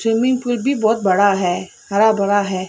Swimming pool भी बहुत बड़ा है हरा भरा है।